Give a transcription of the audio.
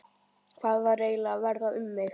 Hvað var eiginlega að verða um mig?